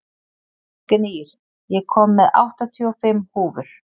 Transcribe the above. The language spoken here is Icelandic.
Gnýr, ég kom með áttatíu og fimm húfur!